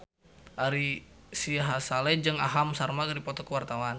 Ari Sihasale jeung Aham Sharma keur dipoto ku wartawan